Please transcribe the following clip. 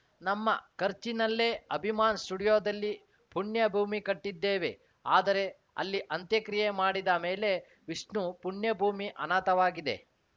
ನಮ್ಮ ಖರ್ಚಿನಲ್ಲೇ ಅಭಿಮಾನ್‌ ಸ್ಟುಡಿಯೋದಲ್ಲಿ ಪುಣ್ಯಭೂಮಿ ಕಟ್ಟಿದ್ದೇವೆ ಆದರೆ ಅಲ್ಲಿ ಅಂತ್ಯಕ್ರಿಯೆ ಮಾಡಿದ ಮೇಲೆ ವಿಷ್ಣು ಪುಣ್ಯಭೂಮಿ ಅನಾಥವಾಗಿದೆ